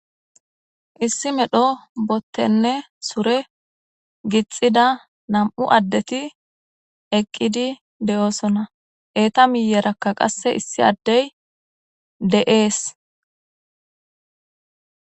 Issi medho bottenne sure gixida nam7u addeti eqqidi de7oosona eeta miyerakka qasse issi addey de'ees